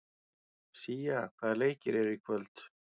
Sía, hvaða leikir eru í kvöld?